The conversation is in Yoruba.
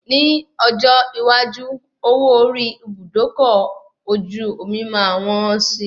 Ni ọjọ́ iwájú, owó orí Ibùdókọ̀ ojú omi máa wọ́n si.